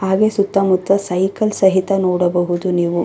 ಹಾಗೆ ಸುತ್ತ ಮುತ್ತ ಸೈಕಲ್ ಸಹಿತ ನೋಡಬಹುದು ನೀವು.